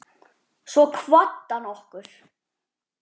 Svo kvaddi hann okkur.